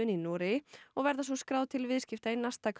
í Noregi og verða svo skráð til viðskipta í